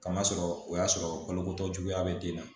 Kama sɔrɔ o y'a sɔrɔ balokotɔ juguya bɛ den na